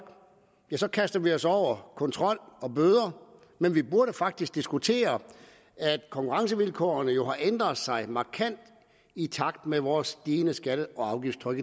kaster vi os over kontrol og bøder men vi burde faktisk diskutere at konkurrencevilkårene jo har ændret sig markant i takt med vores stigende skatte og afgiftstryk